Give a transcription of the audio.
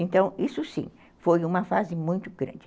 Então, isso sim, foi uma fase muito grande.